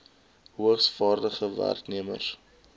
hoogs vaardige werknemers